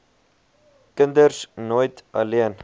kinders nooit alleen